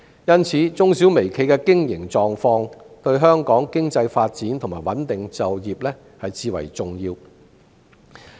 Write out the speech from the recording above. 因此，中小微企的經營狀況對香港的經濟發展和穩定就業至為重要。